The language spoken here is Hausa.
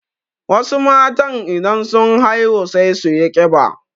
Wasu matan idan sun haihu sai suyi ƙiba.